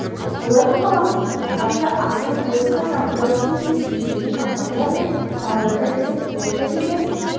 олай болмаған күнде инновация ақшаны босқа шығындау деген сөз жекелеген компаниялар мен салаларды іріктеп қолдау тәжірибесін